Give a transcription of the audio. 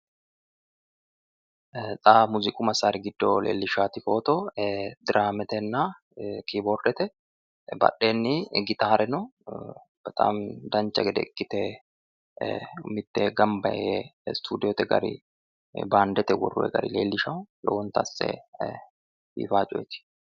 Xa muziiqu massaari giddo leellishshaati footo diraametenna kiboordete badheenni gitaare no bexaami dancha gede ikkite mittee gamba yee studiyoote gari baandete worroyi gari leellishawo lowonta asse biifawo coyeeti.